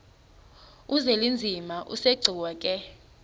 uzwelinzima asegcuwa ke